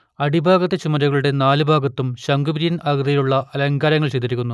അടിഭാഗത്തെ ചുമരുകളുടെ നാലു ഭാഗത്തും ശംഖുപിരിയൻ ആകൃതിയിലുള്ള അലങ്കാരങ്ങൾ ചെയ്തിരിക്കുന്നു